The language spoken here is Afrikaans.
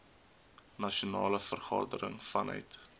nasionale vergadering vanuit